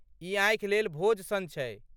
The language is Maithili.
ई आँखि लेल भोज सन छै।